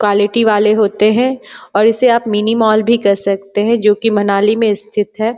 quality वाले होते हैं और इसे आप मिनी मॉल भी कह सकते हैं जो की मनाली में स्थित है |